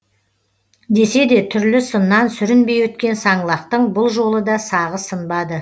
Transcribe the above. десе де түрлі сыннан сүрінбей өткен саңлақтың бұл жолы да сағы сынбады